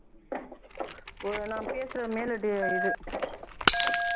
ஒரு நான் பேசுற மேல ஒரு இது